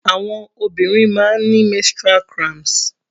Àwọn obìnrin máa ń ni menstrual cramps.